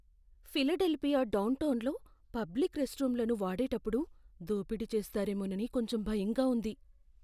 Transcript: Philadelphia డౌన్టౌన్లో public రెస్ట్రూమ్లను వాడేటప్పుడు దోపిడీ చేస్తారేమోనని కొంచెం భయంగా ఉంది.